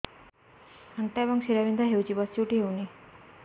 ଅଣ୍ଟା ଏବଂ ଶୀରା ବିନ୍ଧା ହେଉଛି ବସି ଉଠି ହଉନି